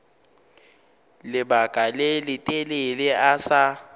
lebaka le letelele a sa